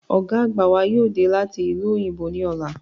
Ọ̀gá àgbà wa yóò dé láti ìlú òyìnbó ní ọ̀la